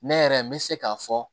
Ne yɛrɛ n bɛ se k'a fɔ